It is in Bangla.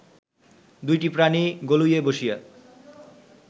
দুইটি প্রাণী গলুইয়ে বসিয়া